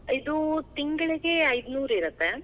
ಇದು, ತಿಂಗಳಗೆ ಐದ್ ನೂರರಿರತ್ತೆ.